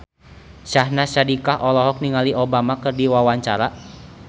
Syahnaz Sadiqah olohok ningali Obama keur diwawancara